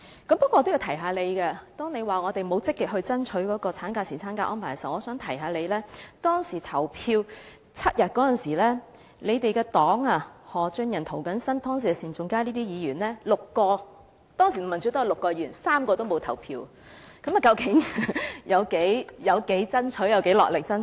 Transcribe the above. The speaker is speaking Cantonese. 不過，我也要提醒她，當她說我們沒有積極爭取產假和侍產假的安排時，我想提醒她，當時就7天侍產假表決時，她的政黨的前議員何俊仁、涂謹申議員、前議員單仲偕等合共6人——當時民主黨有6位議員，卻有3人沒有投票，究竟他們有多落力爭取？